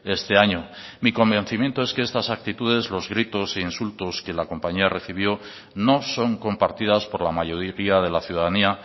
este año mi convencimiento es que estas actitudes los gritos e insultos que la compañía recibió no son compartidas por la mayoría de la ciudadanía